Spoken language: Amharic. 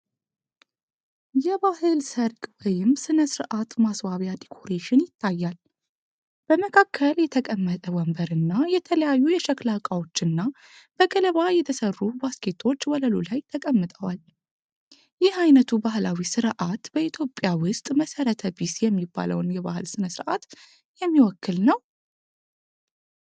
የባህል ሰርግ ወይም ሥነ ሥርዓት ማስዋቢያ ዲኮሬሽን ይታያል። በመካከል የተቀመጠ ወንበር እና የተለያዩ የሸክላ ዕቃዎችና በገለባ የተሰሩ ባስኬቶች ወለሉ ላይ ተቀምጠዋል። ይህ ዓይነቱ ባህላዊ ሥርዓት በኢትዮጵያ ውስጥ መሠረተ ቢስ የሚባለውን የባህል ሥነ ሥርዓት የሚወክል ነው?